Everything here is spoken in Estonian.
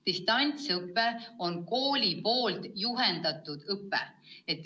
Distantsõpe on kooli poolt juhendatud õpe.